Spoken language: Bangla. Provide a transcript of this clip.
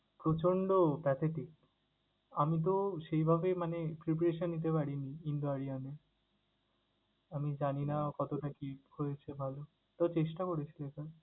প্রচণ্ড pathetic আমি তো সেইভাবে মানে preparation নিতে পারিনি কিংবা এ। আমি জানিনা কতটা কি হয়েছে ভালো, তবে চেষ্টা করেছি।